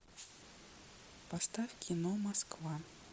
поставь кино москва